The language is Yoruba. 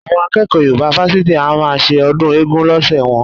Àwọn akẹ́kọ̀ọ́ Yorùbá fásitì a máa ṣe ọdún eégún lọ́sẹ̀ wọn